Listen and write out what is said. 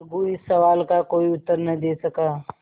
अलगू इस सवाल का कोई उत्तर न दे सका